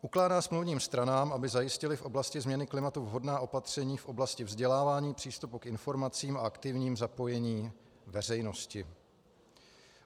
Ukládá smluvním stranám, aby zajistily v oblasti změny klimatu vhodná opatření v oblasti vzdělávání, přístupu k informacím a aktivním zapojení veřejnosti.